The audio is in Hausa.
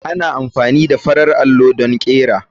Ana amfani da farar allo don ƙera.